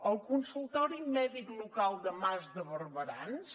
el consultori mèdic local de mas de barberans